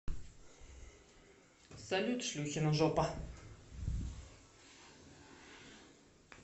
салют шлюхина жопа